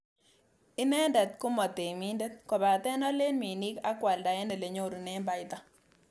Inendet komo temindet, kobaten olen minik ak kwalda en elenyorunen baita.